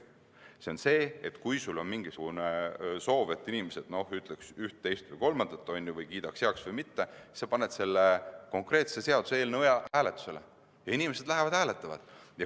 See tähendab seda, et kui sul on soov, et inimesed ütleksid üht, teist või kolmandat või kiidaksid midagi heaks või mitte, siis sa paned selle konkreetse seaduseelnõu hääletusele ning inimesed lähevad ja hääletavad.